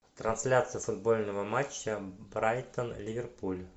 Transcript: трансляция футбольного матча брайтон ливерпуль